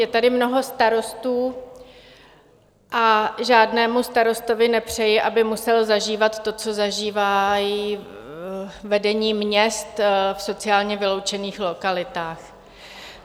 Je tady mnoho starostů a žádnému starostovi nepřeji, aby musel zažívat to, co zažívá vedení měst v sociálně vyloučených lokalitách.